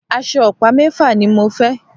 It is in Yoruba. Aṣọ ọ̀pá mẹ́fà ni mo fẹ́